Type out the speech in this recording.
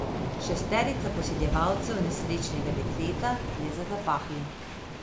Šesterica posiljevalcev nesrečnega dekleta je za zapahi.